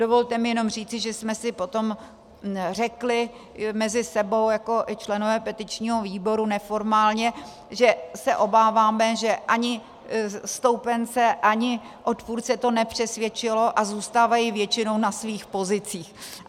Dovolte mi jenom říci, že jsme si potom řekli mezi sebou i členové petičního výboru, neformálně, že se obáváme, že ani stoupence, ani odpůrce to nepřesvědčilo a zůstávají většinou na svých pozicích.